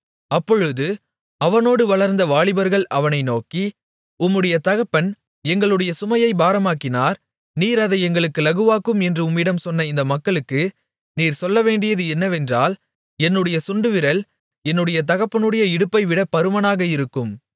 அப்பொழுது அவனோடு வளர்ந்த வாலிபர்கள் அவனை நோக்கி உம்முடைய தகப்பன் எங்களுடைய சுமையைப் பாரமாக்கினார் நீர் அதை எங்களுக்கு இலகுவாக்கும் என்று உம்மிடம் சொன்ன இந்த மக்களுக்கு நீர் சொல்லவேண்டியது என்னவென்றால் என்னுடைய சுண்டுவிரல் என்னுடைய தகப்பனுடைய இடுப்பைவிட பருமனாக இருக்கும்